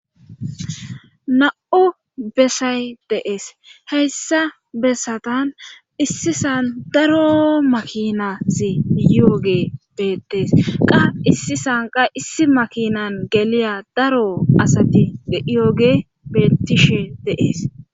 na7u bessay deees heyssa bessatan issisan daro makinasi yooge beettees qa issi sanqa issi makinan geliya daro asati yooge bettishe deees